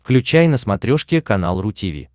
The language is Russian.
включай на смотрешке канал ру ти ви